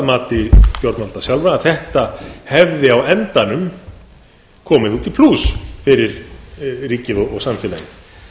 mati stjórnvalda sjálfra að þetta hefði á endanum komið út í plús fyrir ríkið og samfélagið